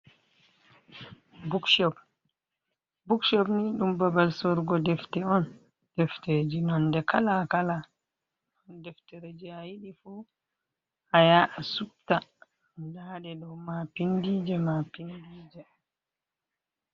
Bukshop, bukshop ni ɗum babal sorugo defte on, defteji nonde kala kala on, deftere je a yiɗi fu a haya’a supta ndaɗe ɗo mapindi je mapindi je.